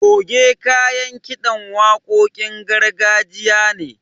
Goge kayan kiɗan waƙoƙin gargajiya ne.